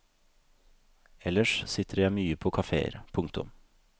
Ellers sitter jeg mye på kafeer. punktum